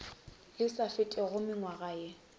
le sa fetego mengwaga ye